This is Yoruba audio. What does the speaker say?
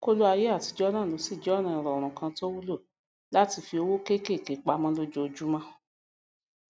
kóló ayé àtijọ náà lóṣì jẹ ọnà ìrọrùn kan tó wúlò láti fí owó kékèké pamọ lojoojúmọ